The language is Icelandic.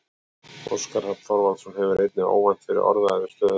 Óskar Hrafn Þorvaldsson hefur einnig óvænt verið orðaður við stöðuna.